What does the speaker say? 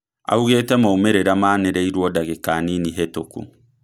Augetĩ maumerĩra maanerĩrwo ndagĩka nini hĩtũku